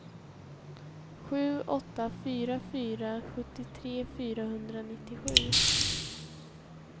sju åtta fyra fyra sjuttiotre fyrahundranittiosju